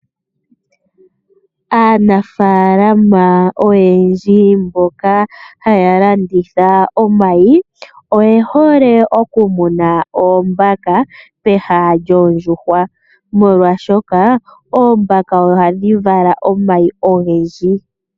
Aanafaalama oyendji mboka haya landitha omayi, oye hole okumuna oombaka peha lyoondjuhwa, molwaashoka oombaka ohadhi vala omayi ogendji.